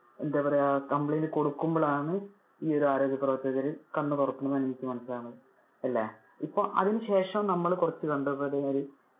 എന്താ പറയാ complaint കൊടുക്കുമ്പോൾ ആണ് ഈ ഒരു ആരോഗ്യ പ്രവർത്തകര് കണ്ണ് തുറക്കുന്നത് എന്നാണ് എനിക്ക് മനസ്സിലാകുന്നത്. അല്ലെ. ഇപ്പൊ അതിനു ശേഷം നമ്മള് കുറച്ചു കണ്ടപ്പതെമാതിരി